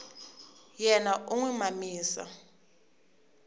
yena u n wi mamisa